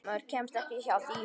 Maður kemst ekki hjá því.